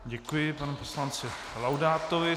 Děkuji panu poslanci Laudátovi.